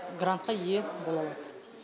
грантқа ие бола алады